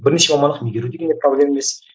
бірінші мамандық меңгеру деген де проблема емес